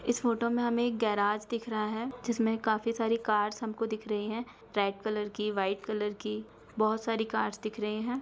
इस फोटो में हमें एक गैराज दिख रहा है। जिसमें काफी सारी कार्स हमको दिख रही हैं। रेड कलर की व्हाइट कलर की बहोत सारी कार्स दिख रहें हैं।